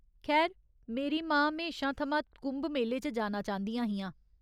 खैर, मेरी मां म्हेशां थमां कुंभ मेले च जाना चांह्दियां हियां।